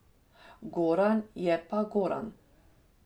Goran je pa Goran.